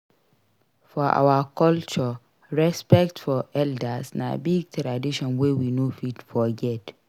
For our culture respect for elders na big tradition wey we no fit forget.